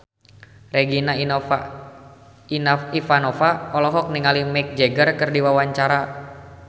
Regina Ivanova olohok ningali Mick Jagger keur diwawancara